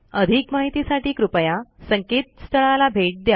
अधिक माहितीसाठी कृपया संकेतस्थळाला भेट द्या